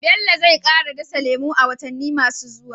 Bello zai kara dasa lemu a watanni masu zuwa.